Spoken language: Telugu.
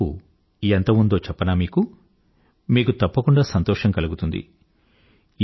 ఈ మార్పు ఎమ్త ఉందో చెప్పనా మీకు మీకు తప్పకుండా సంతోషం కలుగుతుంది